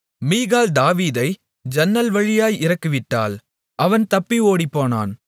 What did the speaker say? மீகாள் தாவீதை ஜன்னல் வழியாய் இறக்கிவிட்டாள் அவன் தப்பி ஓடிப்போனான்